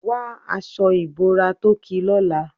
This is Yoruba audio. Wa aṣọ ìbora tó ki lọ́la.